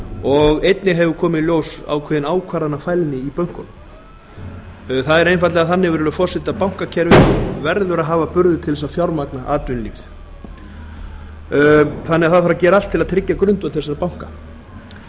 og einnig hefur komið í ljós ákveðin ákvarðanafælni í bönkunum það er einfaldlega þannig virðulegi forseti að bankakerfið verður að hafa burði til þess að fjármagna atvinnulífið þannig að það þarf að gera allt til þess að tryggja grundvöll þessara banka